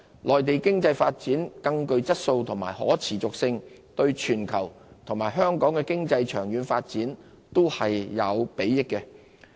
內地經濟發展更具質素及更可持續，對全球及香港經濟的長遠發展均有裨益。